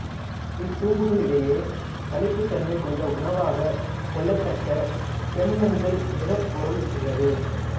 இத் தும்புகளிடையே களித் தன்மை கொண்ட உணவாகக் கொள்ளத்தக்க செம்மஞ்சள் நிறப் பொருள் உள்ளது